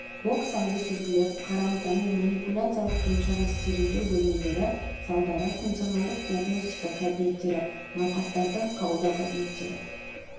бокс алды сүзгілер қарау таңу манипуляциялық емшара стерильдеу бөлмелері залдары функционалдық диагностика кабинеттері науқастарды қабылдау кабинеттері